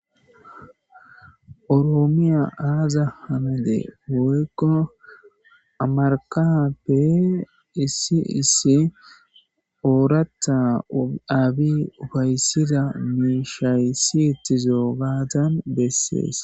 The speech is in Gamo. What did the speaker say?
oroomiya aaza hamede woykko amarkappe issi issi ooratta aabi fayssida miishayssi ittizoo gaatan bessees